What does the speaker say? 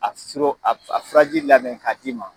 A ti siro, a faraji labɛn ka d'i ma